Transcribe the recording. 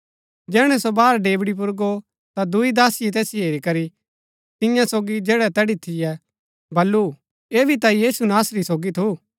जैहणै सो बाहर डेवढ़ी पुर गो ता दूई दासीये तैसिओ हेरी करी तियां सोगी जैड़ै तैड़ी थियै बल्लू ऐह भी ता यीशु नासरी सोगी थु